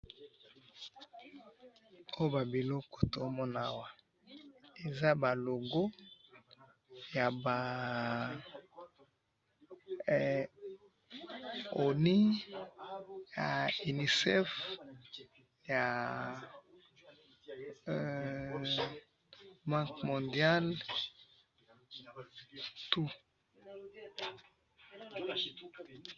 oyo ba biloko tozomona awa eza ba logo yaba he ya ONU, UNICEF ya heee Banque mondial tu.